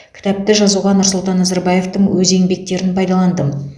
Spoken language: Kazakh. кітапты жазуға нұрсұлтан назарбаевтың өз еңбектерін пайдаландым